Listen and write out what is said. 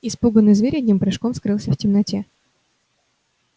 испуганный зверь одним прыжком скрылся в темноте